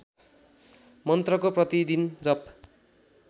मन्त्रको प्रतिदिन जप